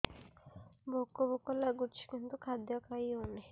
ଭୋକ ଭୋକ ଲାଗୁଛି କିନ୍ତୁ ଖାଦ୍ୟ ଖାଇ ହେଉନି